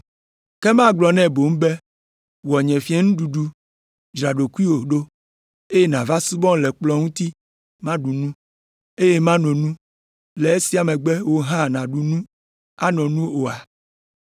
Ke magblɔ nɛ boŋ be, ‘Wɔ nye fiẽnuɖuɖu, dzra ɖokuiwò ɖo, eye nàva subɔm le nye kplɔ̃ ŋuti maɖu nu, eye mano nu, le esia megbe wò hã nàɖu nu ano nu oa’?